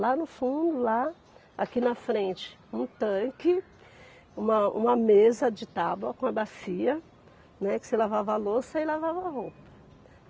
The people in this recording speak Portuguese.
Lá no fundo, lá, aqui na frente, um tanque, uma uma mesa de tábua com uma bacia, né, que você lavava a louça e lavava a roupa.